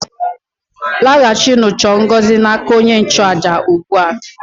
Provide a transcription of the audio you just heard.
Laghachinụ chọọ ngọzi n' aka onye nchụàjà ugbu a!